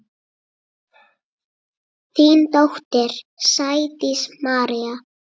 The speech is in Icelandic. Þín dóttir, Sædís María.